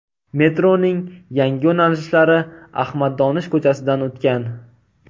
Metroning yangi yo‘nalishlari Ahmad Donish ko‘chasidan o‘tgan.